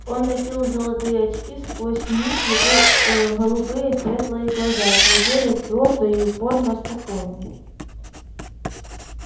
он носил золотые очки сквозь них его ээ голубые светлые глаза глядели твёрдо и упорно спокойно